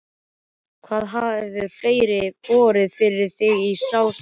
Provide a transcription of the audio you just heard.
Hvað hefur fleira borið fyrir þig í þessu ástandi?